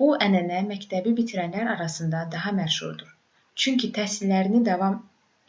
bu ənənə məktəbi bitirənlər arasında daha məşhurdur çünki təhsillərini davam